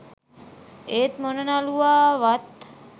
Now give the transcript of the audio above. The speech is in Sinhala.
ඒත් මොන නළුවා ආවත්